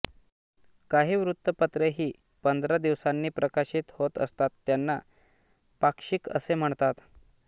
काही वृत्तपत्रे ही पंधरा दिवसांनी प्रकाशित होत असतात त्यांना पाक्षिक असे म्हणतात